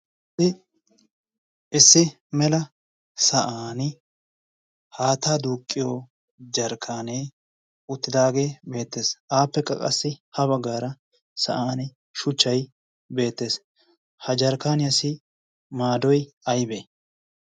ssi issi mela sa'an haattaa duuqqiyo jarkkaanee uttidaagee beettees aappe qa qassi ha baggaara sa'an shuchchay beettees ha jarkkaaniyaasi maadoy aybee